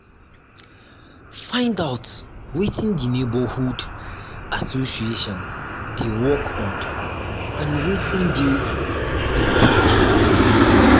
find out wetin di neighbourhood association dey work on and wetin dey important